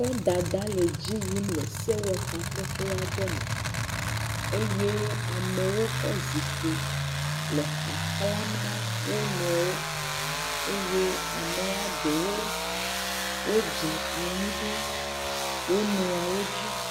Kɔdada le dzi yim le sewɔtakpekpe aɖe me eye ame kɔ zikpi le xaxlãm na wo nɔewo. Eye amea ɖewo wodze anyi ɖe wo nɔeawo dzi.